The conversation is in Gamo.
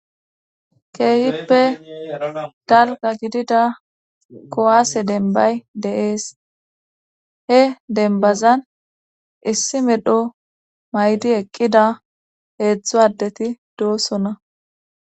keeshippe dalga gidida kowaase denbay dees he denbazan issi medho maydi eqqida heedzdzu addeti doossona